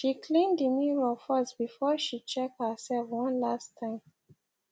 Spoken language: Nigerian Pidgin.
she clean the mirror firstbefore she check herself one last time